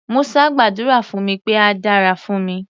Musa gbàdúrà fún mi pé á dára fún mi.